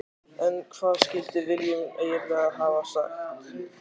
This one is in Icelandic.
En hvað skildi Willum eiginlega hafa sagt?